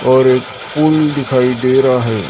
और एक पुल दिखाई दे रहा है।